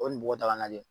O kɔni bɔgɔdaga lajɛ